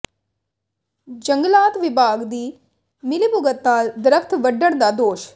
ਜੰਗਲਾਤ ਵਿਭਾਗ ਦੀ ਮਿਲੀਭੁਗਤ ਨਾਲ ਦਰੱਖ਼ਤ ਵੱਢਣ ਦਾ ਦੋਸ਼